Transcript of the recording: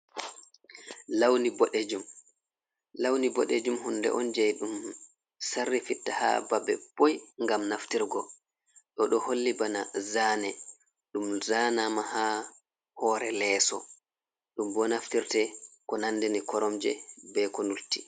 Launi boɗejum. Launi ɓoɗejum hunde on jee ɗum sarri fitta haa babe boy ngam naftirgo. Ɗo ɗo holli bana zane ɗum zanama haa hoore leeso ɗum bo naftirte ko nandini koromje be ko lutti.